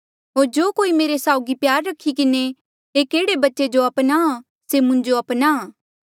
होर जो कोई मेरे साउगी प्यार रखी किन्हें एक एह्ड़े बच्चे जो अपनाहां से मुंजो अपनाहां